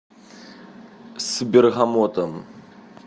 с бергамотом